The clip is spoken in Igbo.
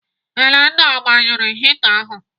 Elenna ọ gbanyụrụ hita ahụ?